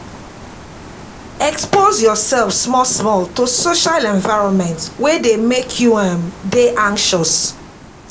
Expose yourself small small to social environment wey dey make you um dey anxious